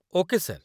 Okay, sir.